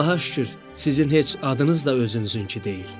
Allaha şükür, sizin heç adınız da özünüzünkü deyil.